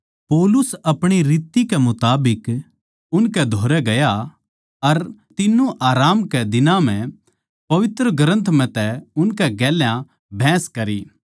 पौलुस अपणी रीत कै मुताबिक उनकै धोरै गया अर तीन्नु आराम कै दिनां म्ह पवित्र ग्रन्थ म्ह तै उनकै गेल्या बहस करी